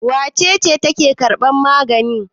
Wace ce take karban magani?